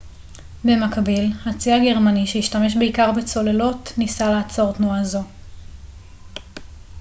במקביל הצי הגרמני שהשתמש בעיקר בצוללות ניסה לעצור תנועה זו